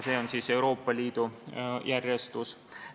See on siis Euroopa Liidu järjestus.